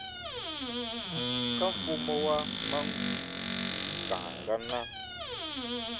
ka mfumo wa muganga na